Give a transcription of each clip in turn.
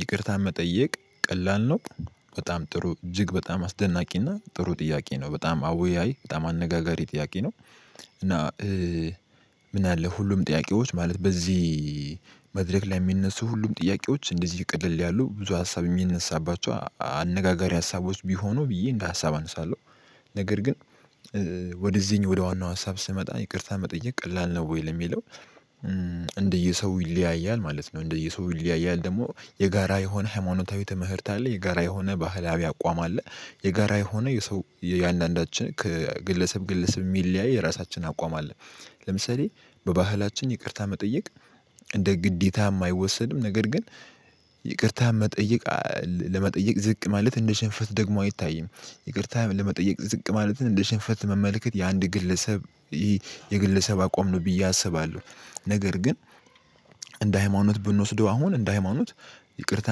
ይቅርታ መጠየቅ ቀላል ነው። በጣም ጥሩ እጅግ በጣም አስደናቂ እና ጥሩ ጥያቄ ነው በጣም አወያይ በጣም አነጋጋሪ ጥያቄ ነው። እና ምን አለ ሁሉም ጥያቄዎች ማለት በዚህ መድረክ ላይ የሚነሱ ሁሉም ጥያቄዎች እንደዚህ ቀለል ያሉ ብዙ ሀሳብ የሚነሳባቸው አነጋጋሪ ሀሳቦች ቢሆኑ ብዬ እንደ ሀሳብ አነሳለሁ። ነገር ግን ወደዚህ ወደ ዋናው ሀሳብ ስመጣ ይቅርታ መጠየቅ ቀላል ነው ወይ ለሚለው? እንደየሰው ይለያያል ማለት ነው። እንደየሰው ይለያያል ደግሞ የጋራ የሆነ ሃይማኖታዊ ትምህርት አለ የጋራ የሆነ ባህላዊ አቋም አለ። የጋራ የሆነ የሰው የእያንዳንዳችን ከግለሰብ ግለሰብ የሚለያይ የራሳችን አቋም አለ። ለምሳሌ በባህላችን ይቅርታ መጠየቅ እንደ ግዴታ የማይወሰድም ነገር ግን ይቅርታ መጠየቅ ለመጠየቅ ዝቅ ማለት እንደ ሽንፈት ደግሞ አይታይም። ይቅርታ ለመጠየቅ ዝቅ ማለትን እንደ ሽንፈት መመልከት የአንድ ግለሰብ የግለሰብ አቋም ነው ብዬ አስባለሁ። ነገር ግን እንደ ሃይማኖት ብንወስደው አሁን እንደ ሃይማኖት ይቅርታ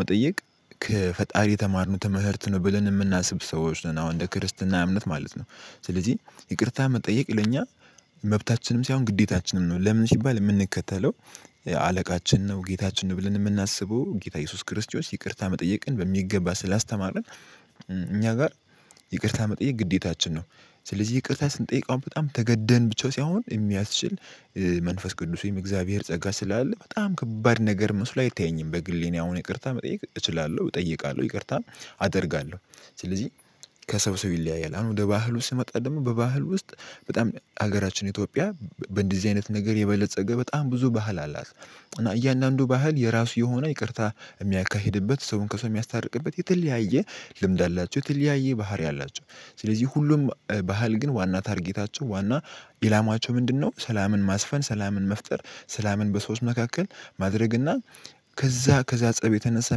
መጠየቅ ከፈጣሪ የተማርነው ትመህርት ነው ብለን የምናስብ ሰዎች ነን አሁን እንደ ክርስትና እምነት ማለት ነው። ስለዚህ ይቅርታ መጠየቅ ለኛ መብታችንም ሳይሆን ግዴታችንም ነው። ለምን ሲባል የምንከተለው አለቃችን ነው ጌታችን ነው ብለን የምናስበው ጌታ ኢየሱስ ክርስቶስ ይቅርታ መጠየቅን በሚገባ ስላስተማረን። እኛ ጋር ይቅርታ መጠየቅ ግዴታችን ነው። ስለዚህ ይቅርታ ስንጠይቀው በጣም ተገደን ብቻ ሳይሆን የሚያስችል መንፈስ ቅዱስ ወይም የእግዚአብሔር ጸጋ ስላለ በጣም ከባድ ነገር መስሎ አይታየኝም። በግሌ እኔ አሁን ይቅርታ መጠየቅ እችላለሁ እጠይቃለሁ ይቅርታ አደርጋለሁ። ስለዚህ ከሰው ሰው ይለያያል አሁን ወደ ባህል ውስጥ ስመጣ ደግሞ በባህል ውስጥ በጣም ሀገራችን ኢትዮጵያ በእንደዚህ አይነት ነገር የበለፀገ በጣም ብዙ ባህል አላት። እና እያንዳንዱ ባህል የራሱ የሆነ ይቅርታ የሚያካሂድበት ሰውን ከሰው የሚያስታርቅበት የተለያየ ልምድ አላቸው የተለያየ ባህሪ አላቸው። ስለዚህ ሁሉም ባህል ግን ዋና ታርጌታቸው ዋና ኢላማቸው ምንድነው? ሰላምን ማስፈን ሰላምን መፍጠር ሰላምን በሰዎች መካከል ማድረግና ከዛ ፀብ የተነሳ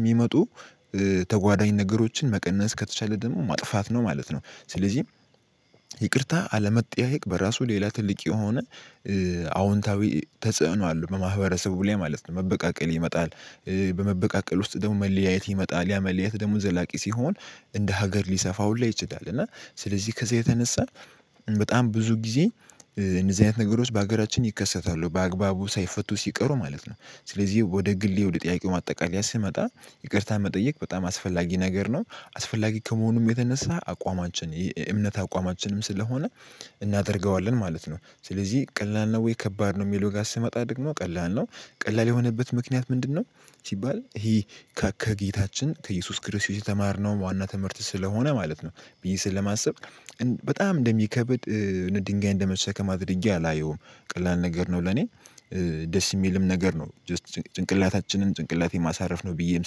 የሚመጡ ተጓዳኝ ነገሮችን መቀነስ ከተቻለ ደግሞ ማጥፋት ነው ማለት ነው። ስለዚህ ይቅርታ አለመጠያየቅ በራሱ ሌላ ትልቅ የሆነ አዎንታዊ ተጽዕኖ አለው በማህበረሰቡ ላይ ማለት ነው። መበቃቀል ይመጣል በመበቃቀል ውስጥ ደግሞ መለያየት ይመጣል ያ መለያየት ደግሞ ዘላቂ ሲሆን እንደ ሀገር ሊሰፋ ሁላ ይችላል። እና ስለዚህ ከዚህ የተነሳ በጣም ብዙ ጊዜ እንደዚህ አይነት ነገሮች በሀገራችን ይከሰታሉ በአግባቡ ሳይፈቱ ሲቀሩ ማለት ነው። ስለዚህ ወደ ግሌ ወደ ጥያቄው ማጠቃለያ ስመጣ ይቅርታ መጠየቅ በጣም አስፈላጊ ነገር ነው። አስፈላጊ ከመሆኑም የተነሳ አቋማችን የእምነት አቋማችንም ስለሆነ እናደርገዋለን ማለት ነው። ስለዚህ ቀላል ነው ወይ ከባድ ነው። የሚለው ጋር ስመጣ ደግሞ ቀላል ነው ቀላል የሆነበት ምክንያት ምንድነው? ሲባል ይሄ ከጌታችን ከኢየሱስ ክርስቶስ የተማርነው ዋና ትምህርት ስለሆነ ማለት ነው። ብዬ ስለማስብ በጣም እንደሚከብድ ድንጋይ እንደመሰከማት ድርጊት አላየውም። ቀላል ነገር ነው ለኔ ደስ የሚልም ነገር ነው ጀስት ጭንቅላታችንን ጭንቅላቴን ማሳረፍ ነው ብዬም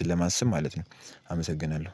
ስለማስብ ማለት ነው። አመሰግናለሁ